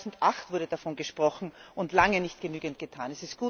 Schon 2008 wurde davon gesprochen und lange nicht genügend getan.